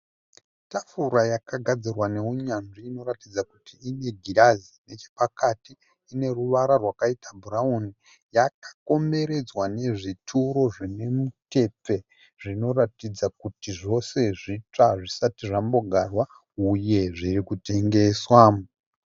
Tafura yagadzirwa nehunyanzvi inoratidza kuti ine girazi nechepakati. Uneruvara rwaita bhurawuni. Yakakomboredzwa nezvituro zvinemutepfe zvinoratidza kuti zvose zvitsva zvisati zvambogarwa, uye zvirikutengeswa.